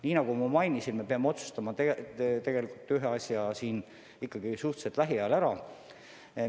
Nii nagu ma mainisin, me peame tegelikult ühe asja ikkagi lähiajal ära otsustama.